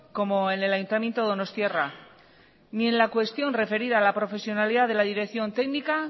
como en el ayuntamiento donostiarra ni en la cuestión referida a la profesionalidad de la dirección técnica